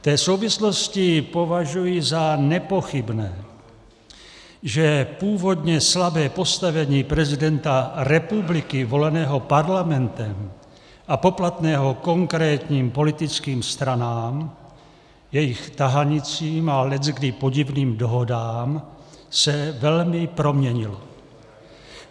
V té souvislosti považuji za nepochybné, že původně slabé postavení prezidenta republiky voleného Parlamentem a poplatného konkrétním politickým stranám, jejich tahanicím a leckdy podivným dohodám, se velmi proměnilo.